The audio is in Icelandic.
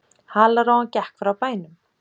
Halarófan gekk frá bænum.